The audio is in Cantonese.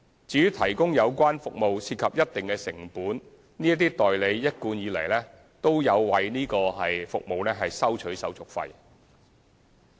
由於提供有關服務涉及一定的成本，這些代理一貫有為此收取手續費。